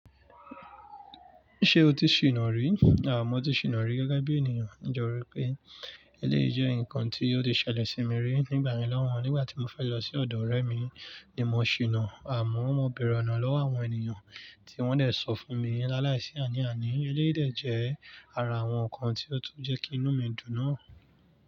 Ṣé o ti ṣìnà rí? À mọ́ tí ṣìnà rí gẹ́gẹ́ bí ènìyàn, nítorí pé eléyìí jẹ́ nǹkan tí ó ti ṣẹlẹ̀ sí mi rí nígbà yẹn lohùn. Nígbà tí mo fẹ́ lọ sí ọ̀dọ̀ ọ̀rẹ́ mi ni mo ṣìnà, àmọ́ mo bèèrè ọ̀nà lọ́wọ́ àwọn ènìyàn tí wọ́n dẹ̀ sọ fún mi láláìsí àní àní. Eléyìí dẹ̀ jẹ́ ara àwọn nǹkan tí ó tún jẹ́ kí inú mi dùn náà.